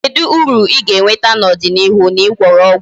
Kedu uru I ga-enweta n'ọdịnịihu na Ị gwọrọ ọgwụ ego?